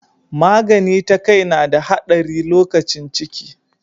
Magani ta kai na da haɗari lokacin ciki.